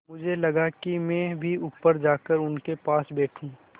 मुझे लगा कि मैं भी ऊपर जाकर उनके पास बैठूँ